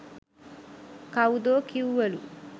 කවුදෝ කිව්වලු